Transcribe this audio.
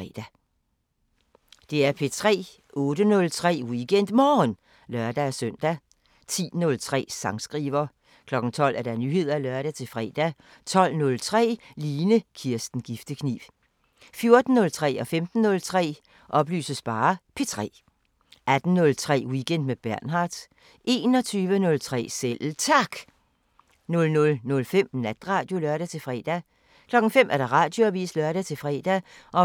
DR P3